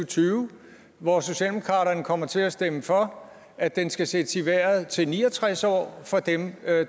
tyve hvor socialdemokraterne kommer til at stemme for at den skal sættes i vejret til ni og tres år for dem